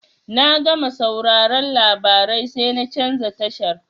Na gama sauraron labarai sai na canza tashar.